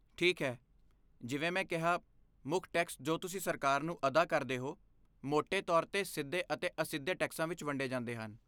ਠੀਕ ਹੈ, ਜਿਵੇਂ ਮੈਂ ਕਿਹਾ, ਮੁੱਖ ਟੈਕਸ ਜੋ ਤੁਸੀਂ ਸਰਕਾਰ ਨੂੰ ਅਦਾ ਕਰਦੇ ਹੋ, ਮੋਟੇ ਤੌਰ 'ਤੇ ਸਿੱਧੇ ਅਤੇ ਅਸਿੱਧੇ ਟੈਕਸਾਂ ਵਿੱਚ ਵੰਡੇ ਜਾਂਦੇ ਹਨ।